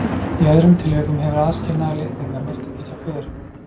Í öðrum tilvikum hefur aðskilnaður litninga mistekist hjá föðurnum.